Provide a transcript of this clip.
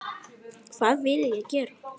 Hvað vill ég gera?